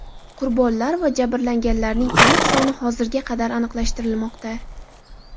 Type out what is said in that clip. Qurbonlar va jabrlanganlarning aniq soni hozirga qadar aniqlashtirilmoqda.